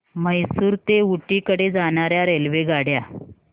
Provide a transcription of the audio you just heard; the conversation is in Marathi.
म्हैसूर ते ऊटी कडे जाणार्या रेल्वेगाड्या